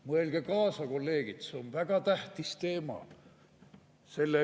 Mõelge kaasa, kolleegid, see on väga tähtis teema!